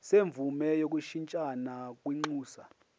semvume yokushintshisana kwinxusa